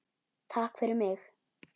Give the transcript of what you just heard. Takk fyrir mig.